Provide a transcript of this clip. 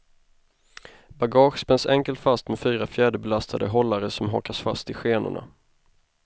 Bagage spänns enkelt fast med fyra fjäderbelastade hållare som hakas fast i skenorna.